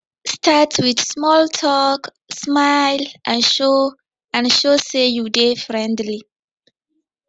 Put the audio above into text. start with small talk smile and show and show say you dey friendly